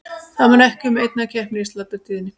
Það munar ekki um einn kepp í sláturtíðinni.